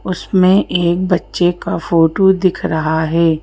उसमें एक बच्चे का फोटो दिख रहा है।